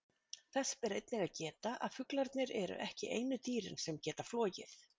Þess ber einnig að geta að fuglarnir eru ekki einu dýrin sem geta flogið.